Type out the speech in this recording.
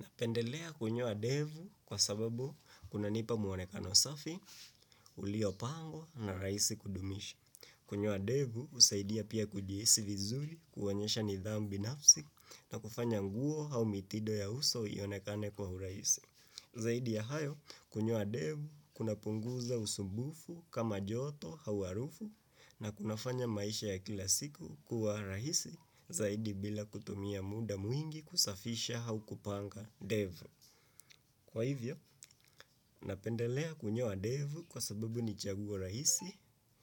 Napendelea kunyoa ndevu kwa sababu kunanipa mwonekano safi, uliopangwa na rahisi kudumisha. Kunyoa ndevu husaidia pia kujihisi vizuri kuonyesha nidhamu binafsi na kufanya nguo au mitindo ya uso ionekane kwa urahisi. Zaidi ya hayo, kunyoa ndevu kunapunguza usumbufu kama joto au harufu na kunafanya maisha ya kila siku kuwa rahisi zaidi bila kutumia muda mwingi kusafisha au kupanga ndevu. Kwa hivyo, napendelea kunyoa ndevu kwa sababu ni chaguo rahisi,